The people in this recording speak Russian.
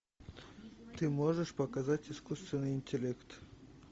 ты можешь показать искусственный интеллект